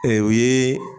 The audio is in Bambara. Ee o ye